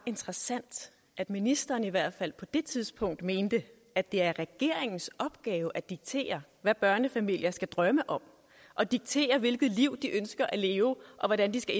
interessant at ministeren i hvert fald på det tidspunkt mente at det er regeringens opgave at diktere hvad børnefamilier skal drømme om og diktere hvilke liv de kan ønske at leve og hvordan de skal